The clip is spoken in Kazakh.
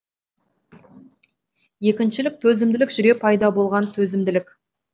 екіншілік төзімділік жүре пайда болған төзімділік